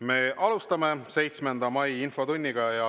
Me alustame 7. mai infotundi.